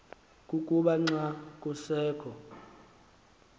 kukuba xa kusekho